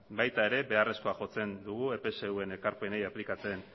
baita ere beharrezkoa jotzen dugu epsvn ekarpenei aplikatzen